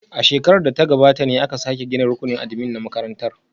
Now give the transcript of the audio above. A shekarar da ta gabata ne aka sake gina rukunin admin na makarantar